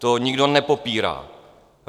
To nikdo nepopírá.